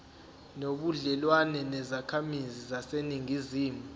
nobudlelwane nezakhamizi zaseningizimu